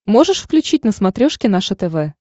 можешь включить на смотрешке наше тв